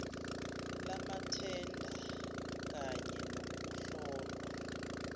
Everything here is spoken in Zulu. lamathenda kamye nokuhlolwa